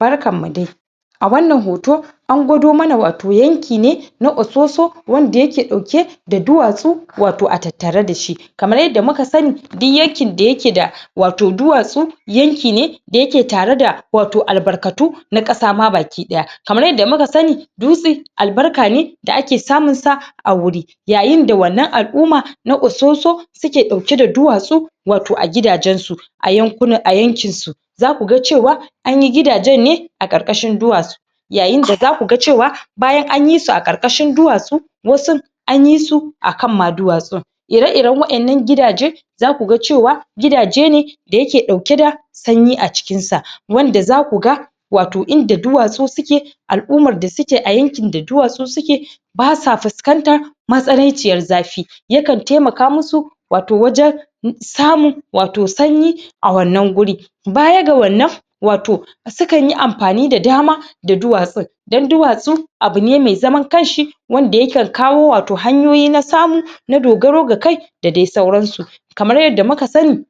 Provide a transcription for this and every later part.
Barkan mu dai! A wannan hoto, an gwado mana wato yanki ne na ososo wanda ya ke ɗauke da duwatsu wato a tattare da shi. Kamar yadda muka sani duk yankin da ya ke da wato duwatsu yankin ne da ya ke tare da wato albarkatu na ƙasa ma baki ɗaya. Kamar yadda muka sani dutsi albarka ne da ake samun sa a wuri yayin da wannan al'umma na ososo suke ɗauke da duwatsu wato a gidajen su, a yankuna a yankin su. Za ku ga cewa anyi gidajen ne a ƙarƙashin duwatsu yayin da za ku ga cewa bayan anyi su ƙarƙashin duwatsu, wasun anyi su akan ma duwatsun. Ire-iren waƴannan gidaje za ku ga cewa gidaje ne da ya ke ɗauke da sanyi a cikin sa wanda za ku ga wato inda duwatsu suke al'ummar da suke a yankin da duwatsu suke ba sa fuskantar matsananciyar zafi yakan taimaka musu wato wajen samun wato sanyi a wannan guri. Baya ga wannan wato sukan yi amfani da dama da duwatsun, don duwatsu abu ne mai zaman kanshi wanda yakan kawo wato hanyoyi na samu na dogaro ga kai da dai sauransu. Kamar yadda muka sani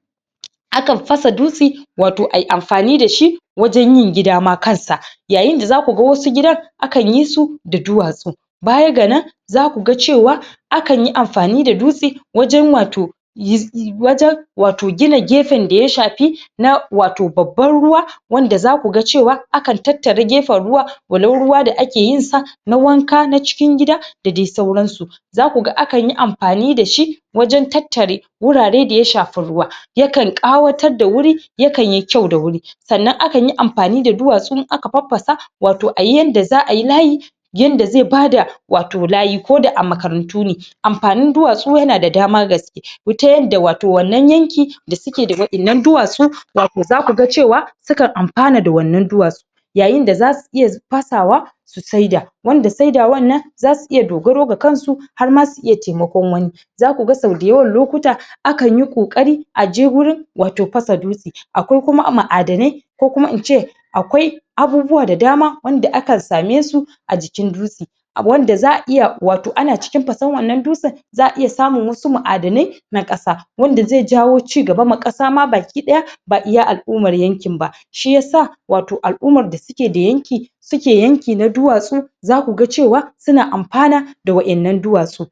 akan fasa dutsi wato ayi amfani da shi wajen yin gida ma kansa. Yayin da za ku ga wasu gidan akan yi su da duwatsu. Baya ga nan za ku ga cewa akan yi amfani da dutsi wajen wato yiz wajen wato gina gefen da ya shafi na wato babban ruwa wanda za ku ga cewa akan tattara gefen ruwa walau ruwa da ake yin sa na wanka, na cikin gida, da dai sauran su. Za ku ga akan yi amfani da shi wajen tattare wurare da ya shafi ruwa. Akan ƙawatar da wuri yakan yi kyau da wuri Sannan akan yi amfani da duwatsu in aka faffasa, wato ayi yanda za'a yi layi yanda zai bada wato layi koda a makarantu ne. Amfanin duwatsu ya na da dama gas ta yadda wato wannan yanki, da suke da waƴannan duwatsu wato za ku ga cewa sukan amfana da wannan duwatsu. Yayin da za su iya fasawa su saida, shi ya sa saidawan nan za su iya dogaro da kansu har ma su taimaki wani. Za ku ga sau da yawan lokuta, akan yi ƙoƙari Aje wurin wato fasa dutsi. Akwai kuma ma'adanai ko kuma ince akwai abubuwa da dama wanda akan same su a jikin dutse. A wanda za'a iya, wato ana cikin fasan wannan dutse za'a iya samun wasu ma'adanai na ƙasa, wanda zai jawo cigaba ma ƙasa ma baki ɗaya, ba iya al'ummar yankin ba, shi ya sa wato al'ummar da suke da yanki suke yanki na duwatsu za ku ga cewa su na amfana da wannan duwatsu.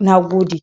Nagode!